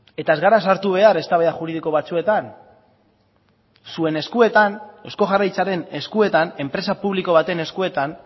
eta ez gara sartu behar eztabaida juridiko batzuetan zuen eskuetan eusko jaurlaritzaren eskuetan enpresa publiko baten eskuetan